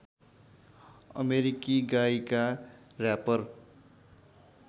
अमेरिकी गायिका र्‍यापर